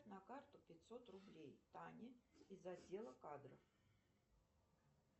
на карту пятьсот рублей тане из отдела кадров